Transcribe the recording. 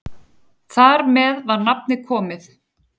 Þar með var nafnið komið.